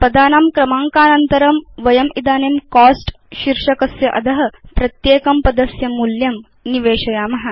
पदानां क्रमाङ्कानन्तरं वयमिदानीं कोस्ट शीर्षकस्य अध प्रत्येकं पदस्य मूल्यं निवेशयाम